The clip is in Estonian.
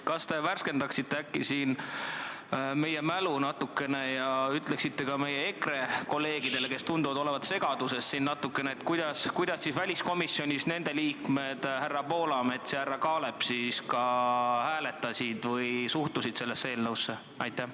Kas te värskendaksite äkki meie mälu ja ütleksite ka meie EKRE kolleegidele, kes tunduvad olevat siin natukene segaduses, kuidas siis väliskomisjonis nende liikmed härra Poolamets ja härra Kaalep hääletasid või kuidas nad sellesse eelnõusse suhtusid?